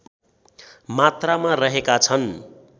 मात्रामा रहेका छन्